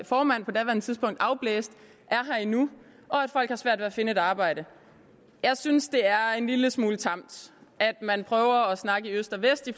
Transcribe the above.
formand på det tidspunkt afblæste er her endnu og at folk har svært ved at finde et arbejde jeg synes det er en lille smule tamt at man prøver at snakke i øst og vest i